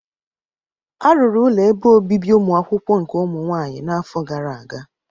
Arụrụ ụlọ ebe obibi ụmụakwụkwọ nke ụmụ nwaanyị n'afọ gara aga.